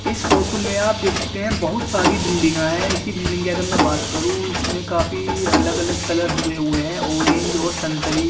इस फोटू में आप देख सकते है बहुत सारी बिल्डिंगा है इसी बिल्डिंग की अगर मैं बात करू इसमें काफी अलग-अलग कलर हुए हुए है ऑरेंज और संतरी --